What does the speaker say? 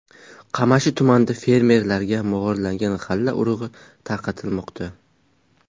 Qamashi tumanida fermerlarga mog‘orlagan g‘alla urug‘i tarqatilmoqda.